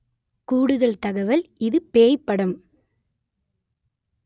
கூடுதல் தகவல் இது பேய் படம்